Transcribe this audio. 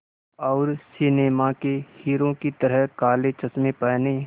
और सिनेमा के हीरो की तरह काले चश्मे पहने